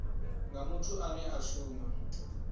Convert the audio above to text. nga muthu ane a shuma